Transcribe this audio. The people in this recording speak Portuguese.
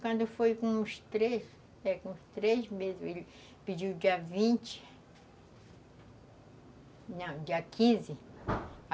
Quando foi com os três, é, com os três mesmo, ele pediu dia vinte... Não, dia quinze